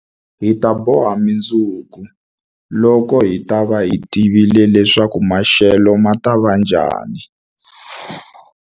Hi ta boha mundzuku, loko hi ta va hi tivile leswaku maxelo ma ta va njhani.